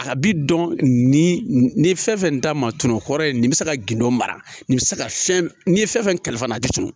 A ka bi dɔn nin ye fɛn fɛn t'a ma tunu hɔrɔn ye nin bɛ se ka gindo mara nin bɛ se ka fɛn n'i ye fɛn fɛn kalifa fana a bɛ tunun